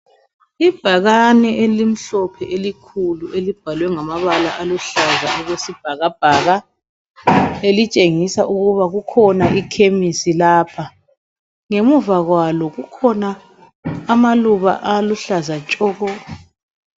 Ibhakane elimhlophe, elikhulu ,elibhalwe ngamabala aluhlaza okwesibhakabhaka. Elibhalwe ukuthi kukhona ikhemisi lapha. Ngemuva kwalo kukhona amaluba aluhlaza tshoko!